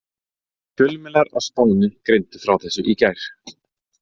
Fjölmiðlar á Spáni greindu frá þessu í gær.